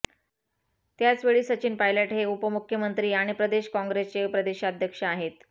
त्याचवेळी सचिन पायलट हे उपमुख्यमंत्री आणि प्रदेश कॉंग्रेसचे प्रदेशाध्यक्ष आहेत